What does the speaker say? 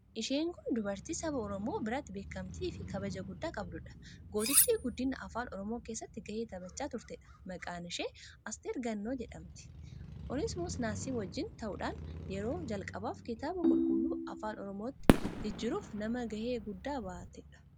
Isheen kun dubartii saba Oromoo biratti beekamtiifi kabaja guddaa qabduudha. Gootittii guddina afaan Oromoo keessatti ga'ee taphachaa turteedha. Maqaan ishee Asteer Gannoo jedhamti. Onesmoos Nasiib wajjin ta'uudhaan yeroo jalqabaaf Kitaaba Qulqulluu Afaan Oromootti jijjiiruuf nama ga'ee guddaa ba'atteedha.